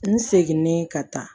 N seginen ka taa